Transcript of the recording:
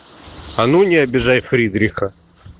а ну не обижай фридриха